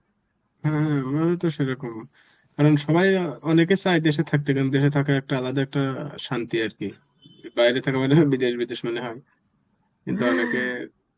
হম হম আমারও তো সেরকম, কারণ সবাই অনেকে চায় দেশে থাকতে কারণ দেশে থাকার একটা আলাদা একটা শান্তি আর কি. বাইরে থাকা মানে বিদেশ বিদেশ মনে হয়. কিন্তু অনেকে